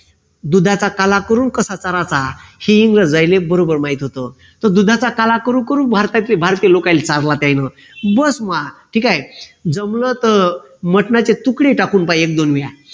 दुधाचा काला करून कसा चराचा हे इंग्रजायले बरोबर माहित होत तो दुधाचा काला करू करू भारताचे भारतीय लोकांना चारला त्यांनी बस मा ठीक आहे जमल तर मटणाचे तुकडे टाकून पाही एकदोन वेळा